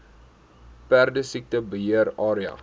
perdesiekte beheer area